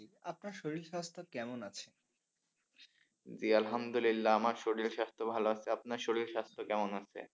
জি আলহামদুলিল্লাহ আমার শরীর স্বাস্থ্য ভালো আছে আপনার শরীর স্বাস্থ্য কেমন আছে?